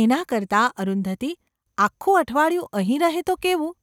‘એના કરતાં અરુંધતી આખું અઠવાડિયું અહીં રહે તો કેવું ?’